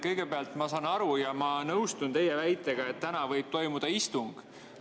Kõigepealt, ma saan aru teie väitest ja nõustun sellega, et täna võib toimuda istung.